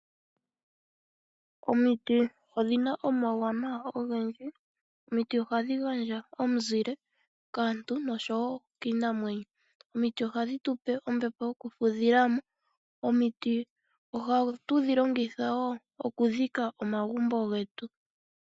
Omiti odhi na omauwanawa ogendji. Ohadhi gandja omuzile kaantu nosho woo kiinamwenyo. Ohadhi tu pe ombepo yoku fudhilamo. Ohatu dhi longitha woo okudhika omagumbo getu.